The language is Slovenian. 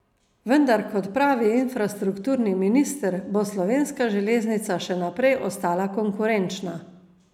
Vendar kot pravi infrastrukturni minister bo slovenska železnica še naprej ostala konkurenčna.